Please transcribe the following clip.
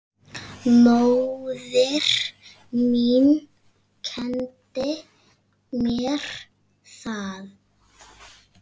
Móðir mín kenndi mér það.